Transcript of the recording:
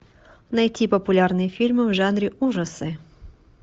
найти популярные фильмы в жанре ужасы